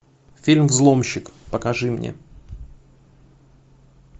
фильм взломщик покажи мне